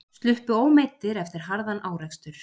Sluppu ómeiddir eftir harðan árekstur